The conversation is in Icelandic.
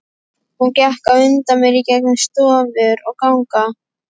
Hún gekk á undan mér í gegnum stofur og ganga.